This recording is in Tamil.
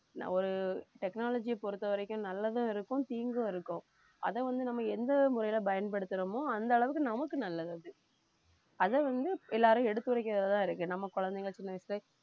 ஒரு technology பொறுத்தவரைக்கும் நல்லதும் இருக்கும் தீங்கும் இருக்கும் அதை வந்து நம்ம எந்த முறையில பயன்படுத்துறோமோ அந்த அளவுக்கு நமக்கு நல்லது அது அதை வந்து எல்லாரும் எடுத்துரைக்கிறதுலதான் இருக்கு நம்ம குழந்தைங்க சின்ன வயசுலயே